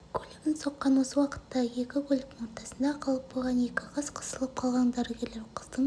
көлігін соққан осы уақытта екі көліктің ортасында қалып қойған екі қыз қысылып қалған дәрігерлер қыздың